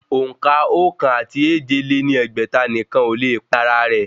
Òǹkà ókan àti èje lé ní ẹgbẹ́ta nìkan ó le pín ara rẹ̀